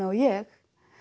og ég